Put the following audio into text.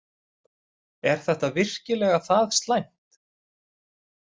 Er þetta virkilega það slæmt?